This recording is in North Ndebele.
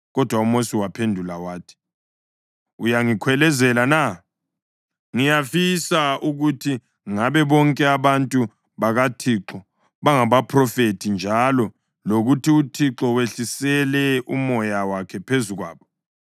Kodwa uMosi waphendula wathi, “Uyangikhwelezela na? Ngiyafisa ukuthi ngabe bonke abantu bakaThixo bangabaphrofethi njalo lokuthi UThixo wehlisele uMoya wakhe phezu kwabo!”